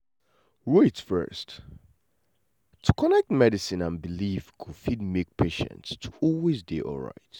wait first — to connect medicine and belief go fit make patients to always dey alright